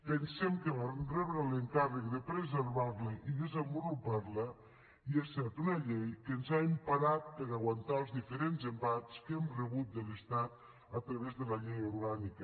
pensem que vam rebre l’encàrrec de preservar la i desenvolupar la i ha set una llei que ens ha emparat per a aguantar els diferents embats que hem rebut de l’estat a través de la llei orgànica